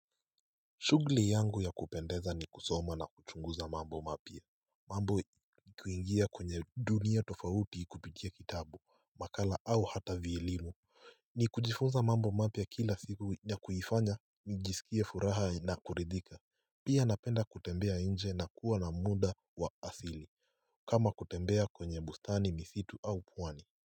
Shughuli yangu ya kupendeza ni kusoma na kuchunguza mambo mapya mambo kuingia kwenye dunia tofauti kupitia kitabu, makala au hata vielimu ni kujifunza mambo mapya kila siku na kuifanya, nijisikie furaha na kuridhika Pia napenda kutembea nje na kuwa na muda wa asili kama kutembea kwenye bustani misitu au pwani.